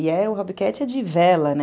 E o Hobbit Cat é de vela, né?